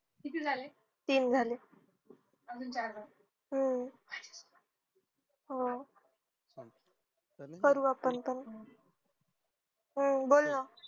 तीन झाले हम्म हा करू आपण पण बोल ना